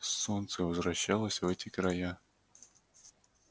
солнце возвращалось в эти края